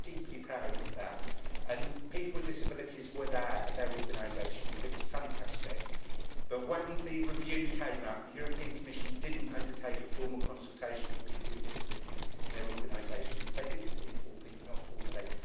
I am deeply proud of that and people with disabilities were there, and their organisations, it was fantastic, but when the review came out, the Commission did not undertake a formal consultation with people with disabilities and their organisations they did informally but not formally.